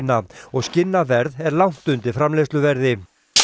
og skinnaverð er langt undir framleiðsluverði